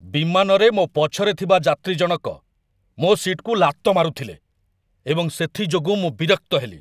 ବିମାନରେ ମୋ ପଛରେ ଥିବା ଯାତ୍ରୀ ଜଣକ ମୋ ସିଟ୍‌କୁ ଲାତ ମାରୁଥିଲେ ଏବଂ ସେଥିଯୋଗୁଁ ମୁଁ ବିରକ୍ତ ହେଲି।